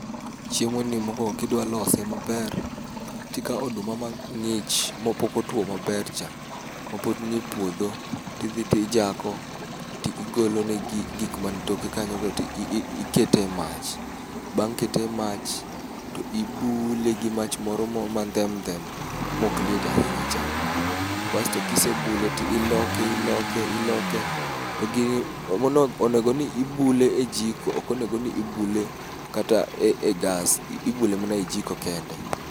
Chiemoni mokuongo kidwa lose maber, to ikawo oduma mang'ich mapok otuo maber cha, ma pod nie puodho, to idhi to ijako to igolone gik man toke kanyogo to ikete e mach. Bang' kete emach, to ibule gi mach moro ma ndhemndhem maok liet ahinya cha. Bas to kisebule to iloke iloke iloke, to onego ni ibule ejiko ok onego ni ibule kata e gas, ibule mana ejiko kende.